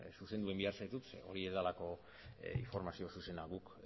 zuzendu egin behar zaitut zeren hori ez delako informazio zuzena guk